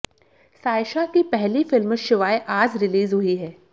सायशा की पहली फिल्म शिवाय आज रिलीज हुई है